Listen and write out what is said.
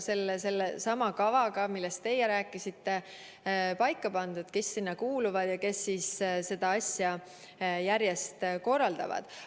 Sellesama kavaga, millest te rääkisite, on paika pandud, kes sinna kuuluvad ja seda asja järjest korraldavad.